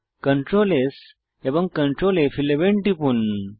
Ctrl S এবং Ctrl ফ11 টিপুন